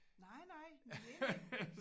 Nej nej men enig